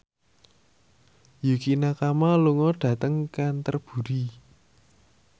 Yukie Nakama lunga dhateng Canterbury